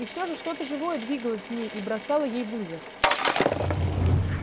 и все же что то живое двигалось в ней и бросало ей вызов